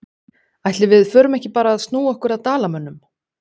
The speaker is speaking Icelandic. Ætli við förum ekki bara að snúa okkur að Dalamönnum?